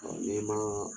n'i ma